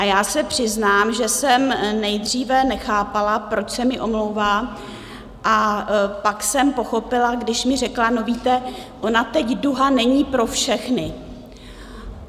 A já se přiznám, že jsem nejdříve nechápala, proč se mi omlouvá, a pak jsem pochopila, když mi řekla: "No víte, ona teď duha není pro všechny." -